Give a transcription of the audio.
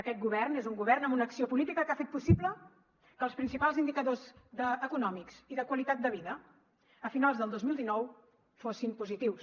aquest govern és un govern amb una acció política que ha fet possible que els principals indicadors econòmics i de qualitat de vida a finals del dos mil dinou fossin positius